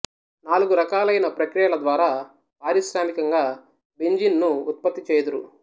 నాలుగురకాలైన ప్రక్రియల ద్వారా ప్రాశ్రామికంగా బెంజీన్ ను ఉత్పత్తి చేయుదురు